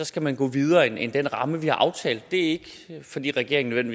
skal man gå videre end den ramme vi har aftalt det er ikke fordi regeringen